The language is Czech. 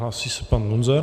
Hlásí se pan Luzar.